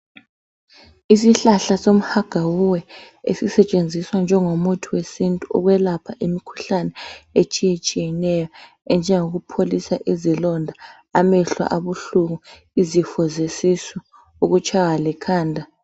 Isihlahla soMhagawuwe, esisetshenziswa njengomuthi wesintu. Ukwelapha imikhuhlane, etshiyetshiyeneyo. Enjengokupholisa izilonda, amehlo abuhlungu, izifo zesisu, ukutshaywa likhanda.